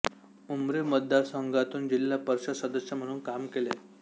उमरी मतदारसंघातून जिल्हा परिषद सदस्य म्हणून काम केले